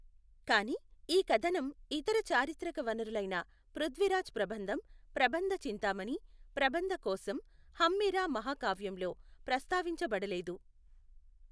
కానీ, ఈ కధనం ఇతర చారిత్రక వనరులైన పృథ్వీరాజ్ ప్రబంధం, ప్రబన్ధ చింతామణి, ప్రబంధ కోశం, హంమీర మహాకావ్యంలో ప్రస్తావించబడలేదు.